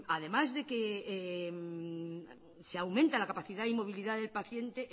además de que se aumenta la capacidad y movilidad del paciente